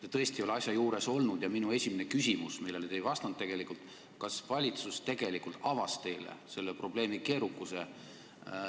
Te tõesti ei ole asja juures olnud ja minu esimene küsimus teile oli – te ei vastanud sellele tegelikult –, kas valitsus ikka avas teile selle probleemi keerukuse.